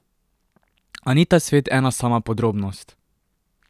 A ni ta svet ena sama podrobnost!